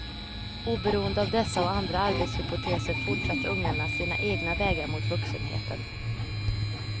Oberoende av dessa och andra arbetshypoteser fortsatte ungarna sina egna vägar mot vuxenheten.